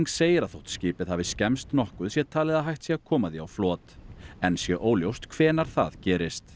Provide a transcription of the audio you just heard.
segir að þótt skipið hafi skemmst nokkuð sé talið að hægt sé að koma því á flot enn sé óljóst hvenær það gerist